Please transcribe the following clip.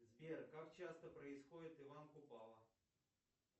сбер как часто происходит иван купала